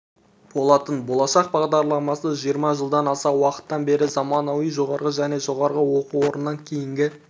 болатын болашақ бағдарламасы жиырма жылдан аса уақыттан бері заманауи жоғары және жоғары оқу орнынан кейінгі